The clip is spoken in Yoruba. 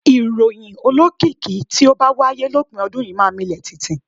Ìròyìn olókìkí tí ó bá wáyé lópin ọdún yìí máa milẹ̀ tìtì.